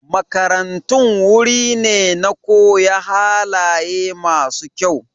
Makarantun wuri ne na koya halaye masu kyau.